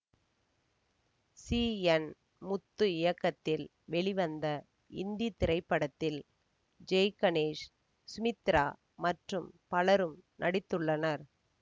C N Muthu இயக்கத்தில் வெளிவந்த இந்தி திரைப்படத்தில் ஜெய்கணேஷ் சுமித்ரா மற்றும் பலரும் நடித்துள்ளனர்